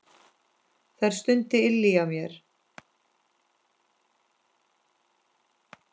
Þær stundir ylja mér.